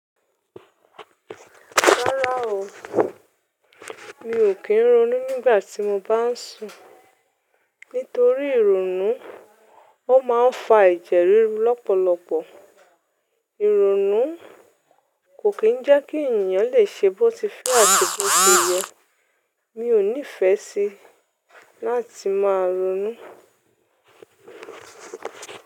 Rárá o, mi ò kí ń ronú nígbà tí mo bá ń sùn. Nítorí ìrònú ó máa ń fa ẹ̀jẹ̀ ríru lọ́pọ̀lọpọ̀. Ìrònú kò kí ń jẹ́ kí ènìyàn lè ṣe bó ti fẹ́ àti bó ṣe yẹ. Mi ò nífẹ sí láti máa ronú.